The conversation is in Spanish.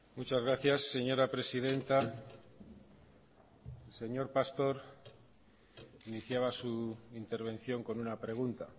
muchas gracias señora presidenta señor pastor iniciaba su intervención con una pregunta